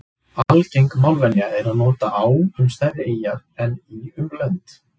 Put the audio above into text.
algeng málvenja er að nota á um stærri eyjar en í um lönd